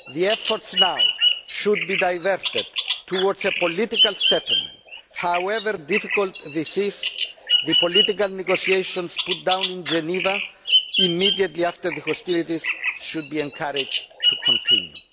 Efforts now should be diverted towards a political settlement, however difficult this is, and the political negotiations launched in Geneva immediately after the hostilities should be encouraged to continue.